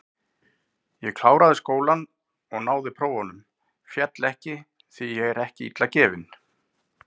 Ég kláraði skólann og náði prófum, féll ekki, því ég er ekki illa gefinn.